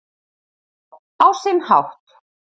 Já, á sinn hátt